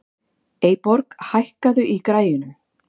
Eyborg, hækkaðu í græjunum.